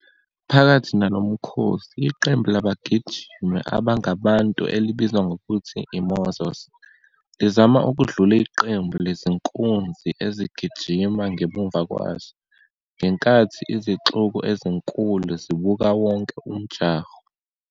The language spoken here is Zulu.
Phakathi nalo mkhosi, iqembu labagijimi abangabantu elibizwa ngokuthi "mozos" lizama ukudlula iqembu lezinkunzi ezigijima ngemuva kwazo, ngenkathi izixuku ezinkulu zibuka wonke umjaho.